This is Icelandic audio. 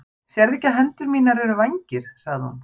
Sérðu ekki að hendur mínar eru vængir? sagði hún.